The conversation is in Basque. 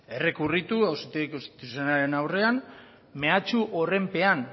errekurritu auzitegi konstituzionalaren aurrean mehatxu horren pean